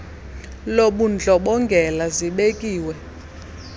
lobundlo bongela zibekiwe